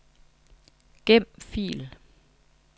Gem fil.